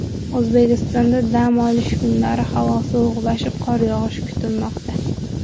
O‘zbekistonda dam olish kunlari havo sovuqlashib, qor yog‘ishi kutilmoqda.